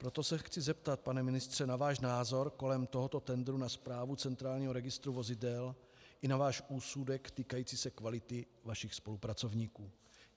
Proto se chci zeptat, pane ministře, na váš názor kolem tohoto tendru na správu centrálního registru vozidel i na váš úsudek týkající se kvality vašich spolupracovníků.